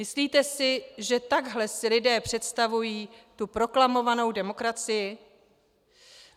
Myslíte si, že takhle si lidé představují tu proklamovanou demokracii?